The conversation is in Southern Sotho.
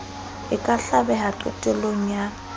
e ka hlabeha qetello ya